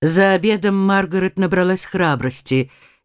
за обедом маргарет набралась храбрости